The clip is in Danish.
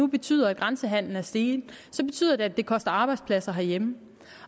betyder at grænsehandelen er steget og så betyder det at det koster arbejdspladser herhjemme